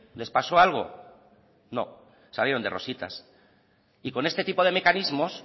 les pasó algo no salieron de rositas y con este tipo de mecanismos